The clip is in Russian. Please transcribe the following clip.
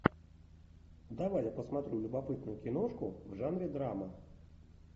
давай я посмотрю любопытную киношку в жанре драма